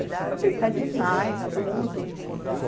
Eu falei, está demais tudo.